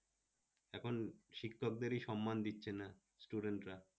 এখন শিক্ষকদেরই সম্মান দিচ্ছে না student রা